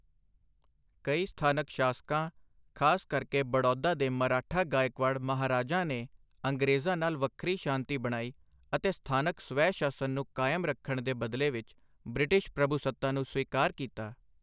ਕਈ ਸਥਾਨਕ ਸ਼ਾਸਕਾਂ, ਖ਼ਾਸ ਕਰਕੇ ਬੜੌਦਾ ਦੇ ਮਰਾਠਾ ਗਾਇਕਵਾੜ ਮਹਾਰਾਜਾਂ ਨੇ ਅੰਗਰੇਜ਼ਾਂ ਨਾਲ ਵੱਖਰੀ ਸ਼ਾਂਤੀ ਬਣਾਈ ਅਤੇ ਸਥਾਨਕ ਸਵੈ ਸ਼ਾਸਨ ਨੂੰ ਕਾਇਮ ਰੱਖਣ ਦੇ ਬਦਲੇ ਵਿੱਚ ਬ੍ਰਿਟਿਸ਼ ਪ੍ਰਭੂਸੱਤਾ ਨੂੰ ਸਵੀਕਾਰ ਕੀਤਾ।